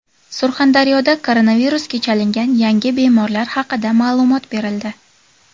Surxondaryoda koronavirusga chalingan yangi bemorlar haqida ma’lumot berildi.